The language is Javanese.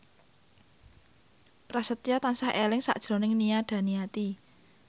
Prasetyo tansah eling sakjroning Nia Daniati